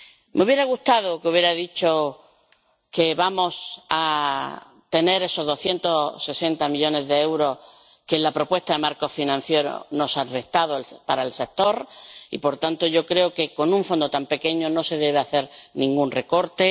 Me hubiera gustado que hubiera dicho que vamos a tener esos 260 millones de euros que en la propuesta de marco financiero nos han restado para el sector, porque yo creo que, con un Fondo tan pequeño, no se debe hacer ningún recorte.